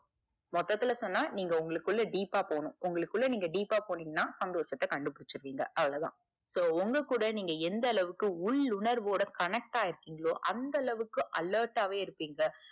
மொத்தத்துல சொன்னா நீங்க உங்களுக்குள்ள deep ஆ போனும். உங்களுக்குள்ள நீங்க deep பா போனிங்கனா சந்தோஷத்த கண்டு புடிச்சுடுவீங்க அவ்ளோதா so உங்க கூட நீங்க எந்த அளவுக்கு. உள் உணர்வோடு connect ஆகிருக்கிறீன்களோ, அந்த அளவுக்கு alert டாவே இருப்பிங்க.